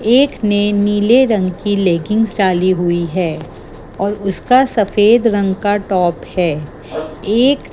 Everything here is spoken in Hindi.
एक ने नीले रंग की लेकिन लेगीन्स डाली हुई है और उसका सफेद रंग का टॉप है एक--